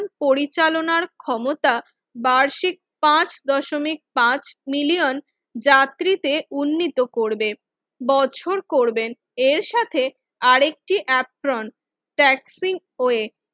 পরিচালনার ক্ষমতা বার্ষিক পাঁচ দশমিক পাঁচ মিলিয়ন যাত্রীতে উন্নীত করবে বছর করবেন এর সাথে আরেকটি অ্যাপ্রন ট্যাক্সিওয়ে